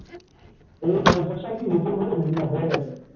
এই construction কি নতুন হল নাকি হয়ে গেছে?